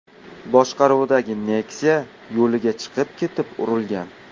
boshqaruvidagi Nexia yo‘liga chiqib ketib urilgan.